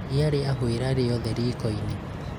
iria rĩahũĩra rĩothe riko-inĩ